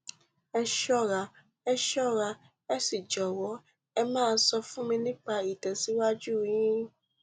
ẹ ṣọra ẹ ṣọra ẹ sì jọwọ ẹ máa sọ fún mi nípa ìtẹsíwájú yín